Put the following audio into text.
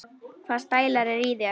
Hvaða stælar eru í þér?